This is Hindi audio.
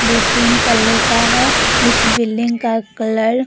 दो-तीन तल्ले का है उस बिल्डिंग का कलर .